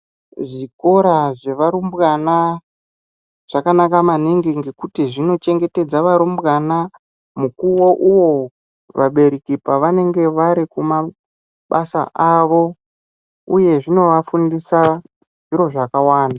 Zvikora zvevarumbwana zvakanaka maningi ngekuti zvinochengetedza varumbwana mukuwo uwo vabereki pavanenge vari kumabasa avo uye zvinofundisa zviro zvakawanda.